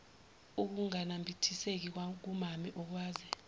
ukunganambithiseki kukamame okwaze